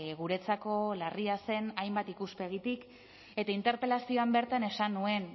guretzako larria zen hainbat ikuspegitik eta interpelazioan bertan esan nuen